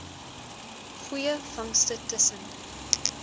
goeie vangste tussen